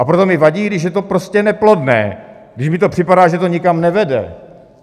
A proto mi vadí, když je to prostě neplodné, když mi to připadá, že to nikam nevede.